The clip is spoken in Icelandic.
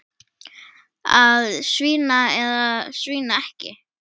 Að svína eða svína ekki.